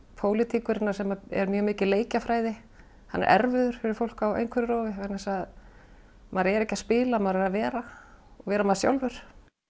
pólitíkurinnar sem er mjög mikið leikjafræði hann er erfiður fyrir fólk á einhverfurófi vegna þess að maður er ekki að spila maður er að vera vera maður sjálfur